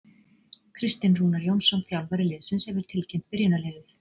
Kristinn Rúnar Jónsson þjálfari liðsins hefur tilkynnt byrjunarliðið.